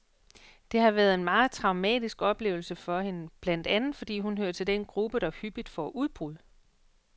Det har været en meget traumatisk oplevelse for hende, blandt andet fordi hun hører til den gruppe, der hyppigt får udbrud.